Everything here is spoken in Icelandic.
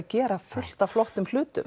gera fullt af flottum hlutum